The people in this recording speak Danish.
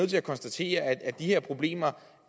til at konstatere at de her problemer